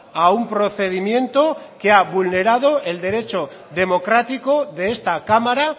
a un procedimiento que ha vulnerado el derecho democrático de esta cámara